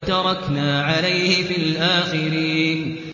وَتَرَكْنَا عَلَيْهِ فِي الْآخِرِينَ